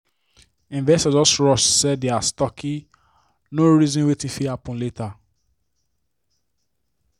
investor just rush sell dia stocke no reason wetin fit happen later.